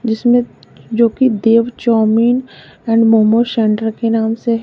जिसमें जो कि Dev chow mein and momos centre के नाम से है।